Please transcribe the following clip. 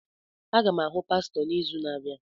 Aga m ahụ pastọ n'izu na-abịa.